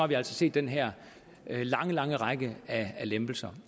vi altså set den her lange lange række af lempelser